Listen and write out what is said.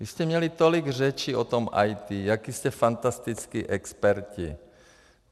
Vy jste měli tolik řečí o tom IT, jaký jste fantastický experti.